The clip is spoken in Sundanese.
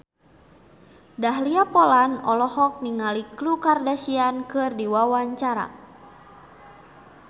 Dahlia Poland olohok ningali Khloe Kardashian keur diwawancara